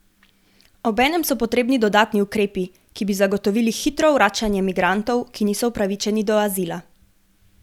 Obenem so potrebni dodatni ukrepi, ki bi zagotovili hitro vračanje migrantov, ki niso upravičeni do azila.